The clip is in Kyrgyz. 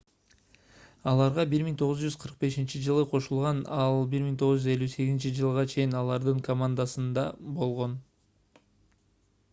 аларга 1945-жылы кошулган ал 1958-жылга чейин алардын командасында болгон